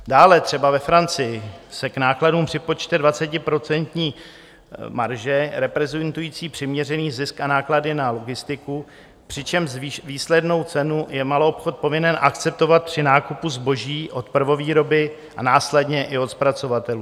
Dále třeba ve Francii se k nákladům připočte 20% marže reprezentující přiměřený zisk a náklady na logistiku, přičemž výslednou cenu je maloobchod povinen akceptovat při nákupu zboží od prvovýroby a následně i od zpracovatelů.